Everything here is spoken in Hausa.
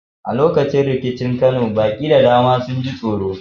A lokacin rikicin Kano, baƙi da dama sun ji tsoro.